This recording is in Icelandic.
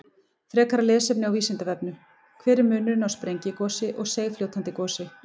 Frekara lesefni á Vísindavefnum: Hver er munurinn á sprengigosi og seigfljótandi gosi?